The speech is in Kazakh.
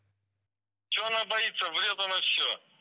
че она боится врет она все